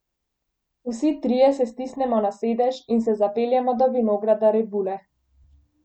Vsi trije se stisnemo na sedež in se zapeljemo do vinograda rebule.